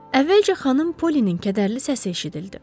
Əvvəlcə Xanım Pollynin kədərli səsi eşidildi.